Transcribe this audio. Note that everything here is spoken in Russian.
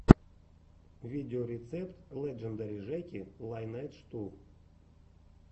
видеорецепт леджендари жеки лайнэйдж ту